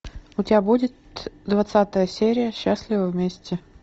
у тебя будет двадцатая серия счастливы вместе